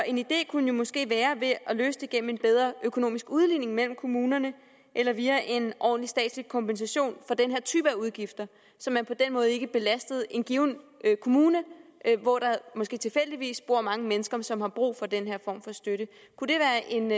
en idé kunne måske være at løse det gennem en bedre økonomisk udligning mellem kommunerne eller via en ordentlig statslig kompensation for den her type udgifter så man på den måde ikke belaster en given kommune hvor der måske tilfældigvis bor mange mennesker som har brug for den her form for støtte kunne det være en